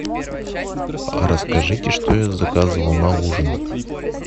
расскажите что я заказывал на ужин